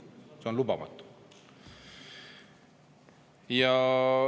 See on lubamatu.